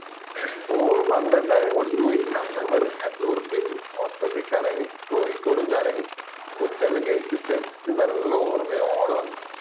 ഓറ് പന്ത്രണ്ടായിരം കൊടുത്തിട്ടു പോയി നമ്മള് വെറും എണ്ണൂറു ഉർപ്യക്ക് മൊത്തത്തില് കറങ്ങി കൊയ്‌ക്കോടും കറങ്ങി food എല്ലൊം കഴിച് set നല്ല ഓർമയോട് വന്നു